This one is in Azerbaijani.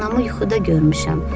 Anamı yuxuda görmüşəm.